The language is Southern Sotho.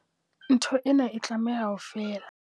Ntho ena e tlameha ho fela.